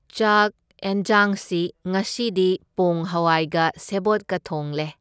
ꯆꯥꯛ ꯑꯦꯟꯓꯥꯡꯁꯤ ꯉꯁꯤꯗꯤ ꯄꯣꯡ ꯍꯋꯥꯏꯒ ꯁꯦꯕꯣꯠꯀ ꯊꯣꯡꯂꯦ꯫